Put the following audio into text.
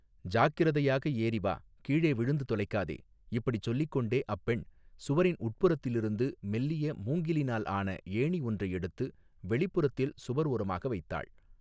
ஜாக்கிரதையாக ஏறி வா கீழே விழுந்து தொலைக்காதே இப்படிச் சொல்லிக் கொண்டே அப்பெண் சுவரின் உட்புறத்திலிருந்து மெல்லிய மூங்கிலினால் ஆன ஏணி ஒன்றை எடுத்து வெளிப்புறத்தில் சுவர் ஓரமாக வைத்தாள்.